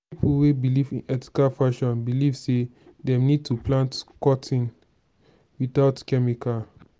pipo wey belive in ethical fashion believe sey dem need to plant cotton without chemical